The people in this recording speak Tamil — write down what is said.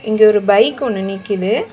இங்க ஒரு பைக் ஒன்னு நிக்கிது.